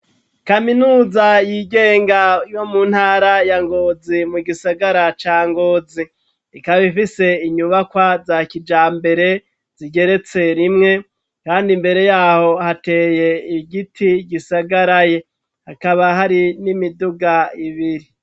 Kaminuza yigenga yo mu ntara ya Ngozi mu gisagara ca Ngozi, ikaba ifise inyubakwa za kijambere zigeretse rimwe, kandi mbere yaho hateye igiti gisagaraye, hakaba hari n'imiduga ibiri.